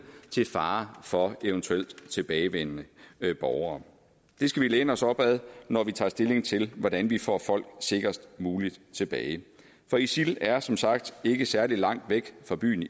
til fare for eventuelt tilbagevendende borgere det skal vi læne os op ad når vi tager stilling til hvordan vi får folk sikrest muligt tilbage for isil er som sagt ikke særlig langt væk fra byen